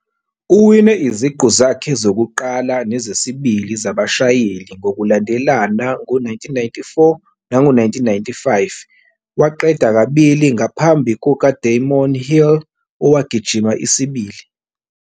Uwine iziqu zakhe zokuqala nezesibili zabashayeli ngokulandelana ngo-1994 nango-1995, waqeda kabili ngaphambi kukaDamon Hill owagijima isibili.